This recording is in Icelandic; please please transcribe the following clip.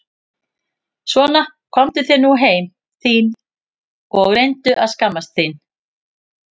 Svona komdu þér nú heim þín og reyndu að skammast þín!